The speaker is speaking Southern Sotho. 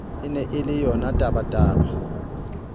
e ne e le yonatabataba